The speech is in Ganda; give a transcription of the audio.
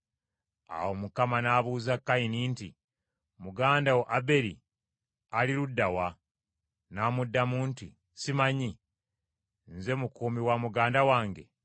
Awo Mukama n’abuuza Kayini nti, “Muganda wo Aberi ali ludda wa?” N’amuddamu nti, “Ssimanyi; nze mukuumi wa muganda wange?”